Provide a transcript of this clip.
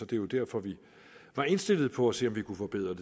det var derfor vi var indstillet på at se om vi kunne forbedre